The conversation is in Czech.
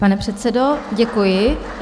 Pane předsedo, děkuji.